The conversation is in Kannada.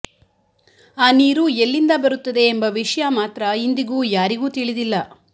ಆ ನೀರು ಎಲ್ಲಿಂದ ಬರುತ್ತದೆ ಎಂಬ ವಿಷಯ ಮಾತ್ರ ಇಂದಿಗೂ ಯಾರಿಗೂ ತಿಳಿದಿಲ್ಲ